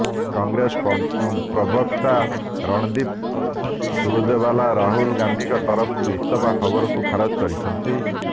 କଂଗ୍ରେସ ପ୍ରବକ୍ତା ରଣଦୀପ୍ ସୁରଜେବାଲା ରାହୁଲ ଗାନ୍ଧିଙ୍କ ତରଫରୁ ଇସ୍ତଫା ଖବରକୁ ଖାରଜ କରିଛନ୍ତି